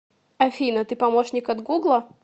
афина ты помощник от гугла